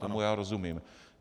Tomu já rozumím.